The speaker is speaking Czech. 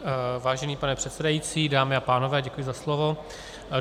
Vážený pane předsedající, dámy a pánové, děkuji za slovo.